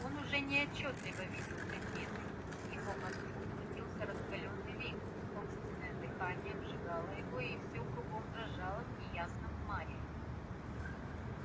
он уже неотчётливо видел предметы в его мозгу крутился раскалённый вихрь собственное дыхание обжигало его и всё кругом дрожало в неясном мареве